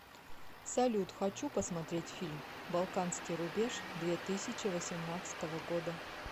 салют хочу посмотреть фильм балканский рубеж две тысячи восемнадцатого года